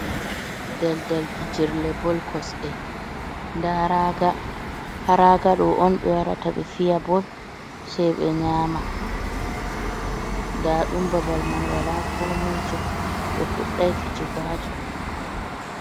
Dal-dal fijirle bol kosɗe, nda raaga ɗo on ɓe warata ɓe fiya bol sai ɓe nyama, nda ɗum babal man wala ko moi jo ɓe fuɗɗai fijigo haton.